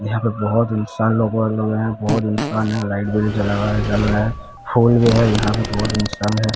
यहां पे बहुत इंसान लोगों और लोग हैं बहुत इंसान हैं लाइट जला रहा है जल रहा है फोन भी है यहां पे बहुत इंसान हैं।